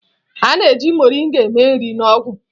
A na-eji mọrịnga eme nri na ọgwụ.